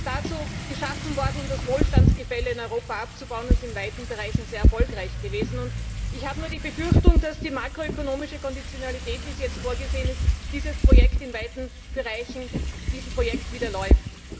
Er ist dazu geschaffen worden, um das Wohlstandsgefälle in Europa abzubauen, und ist in weiten Bereichen sehr erfolgreich gewesen. Ich habe nur die Befürchtung, dass die makro ökonomische Konditionalität, wie sie jetzt vorgesehen ist, diesem Projekt in weiten Bereichen zuwiderläuft.